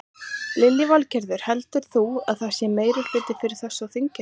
Lillý Valgerður: Heldur þú að það sé meirihluti fyrir þessu á þinginu?